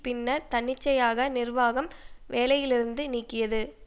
பின்னர் தன்னிச்சையாக நிர்வாகம் வேலையிலிருந்து நீக்கியது